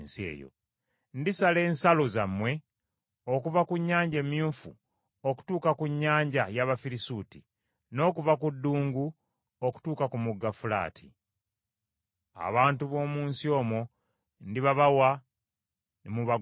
“Ndisala ensalo zammwe okuva ku Nnyanja Emyufu okutuuka ku Nnyanja y’Abafirisuuti, n’okuva ku ddungu okutuuka ku Mugga Fulaati. Abantu b’omu nsi omwo ndibabawa, ne mubagobamu.